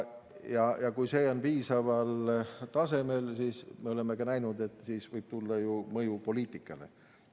Ja kui see on piisaval tasemel, siis võib sellest tulla, nagu me oleme näinud, mõju poliitikale.